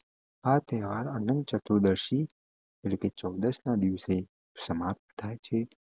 આ તહેવાર આનંદ ચતુર્દષ્ટિ એટલે કે ચૌદસના દિવસે સમાપ્ત થાય છે